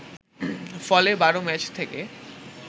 ফলে ১২ ম্যাচ থেকে